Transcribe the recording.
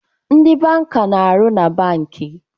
Ndị banka na-arụ na bankị